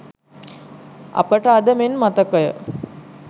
අපට අද මෙන් මතකය.